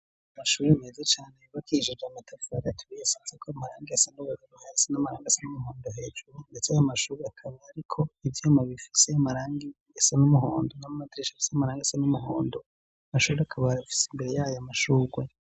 Amashure meza cane yubakishije amatafari aturiye asizweko amarangi asa n'umuhondo hasi n'amarangi asa n'umuhondo hejuru, ndetse ayo mashure akaba, ariko ivyuma bifise amarangi asa n'umuhondo, n'amadirisha afise amarangi asa n'umuhondo, amashure akaba afise imbere yayo amashurwe.